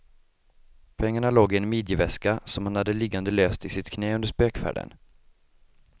Pengarna låg i en midjeväska, som han hade liggande löst i sitt knä under spökfärden.